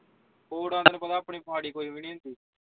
ਫੂਟਵਾਂ ਤੈਨੂੰ ਪਤਾ ਆਪਣੀ ਮਾੜੀ ਕੋਈ ਵੀ ਨਹੀਂ ਹੁੰਦੀ